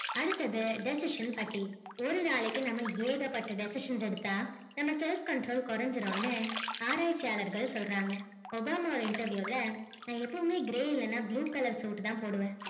அடுத்தது definition பத்தி ஒரு நாளைக்கு நம்ம ஏகப்பட்ட definition எடுத்தா நம்ம self control குறைஞ்சிடும் னு ஆராய்ட்சியாளர்கள் சொல்றாங்க obama ஒரு interview ல நா எப்போவுமே grey இல்லனா blue color suit தான் போடுவேன்